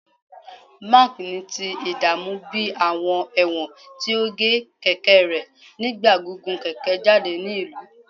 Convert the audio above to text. Mark ni ti idaamu bi awọn ẹwọn ti o ge keke rẹ nigba gigun keke jade ni ilu